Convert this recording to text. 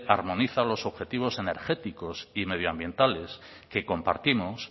armoniza los objetivos energéticos y medioambientales que compartimos